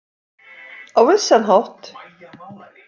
Á vissan hátt.